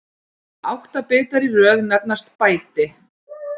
Átta bitar í röð nefnast bæti.